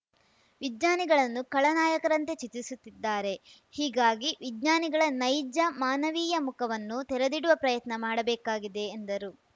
ವಿಜ್ಞಾನಿಗಳನ್ನು ಕಳ ನಾಯಕರಂತೆ ಚಿತ್ರಿಸುತ್ತಿದ್ದಾರೆ ಹೀಗಾಗಿ ವಿಜ್ಞಾನಿಗಳ ನೈಜ ಮಾನವೀಯ ಮುಖವನ್ನು ತೆರೆದಿಡುವ ಪ್ರಯತ್ನ ಮಾಡಬೇಕಾಗಿದೆ ಎಂದರು